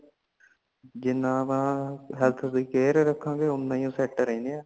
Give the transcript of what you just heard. ਜਿਨ੍ਹਾਂ ਆਪਾ health ਦੀ care ਰਾਹਖਾ ਗੇ ਓਨਾ ਅਸੀਂ effect ਰਹਿਣੇ ਆ